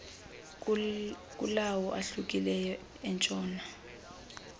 kulawo ahlukileyo entshona